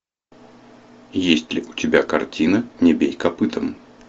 есть ли у тебя картина не бей копытом